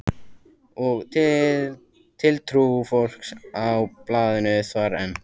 Og tiltrú fólks á blaðinu þvarr enn.